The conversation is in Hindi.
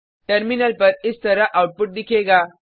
टर्मिनल पर इस तरह आउटपुट दिखेगा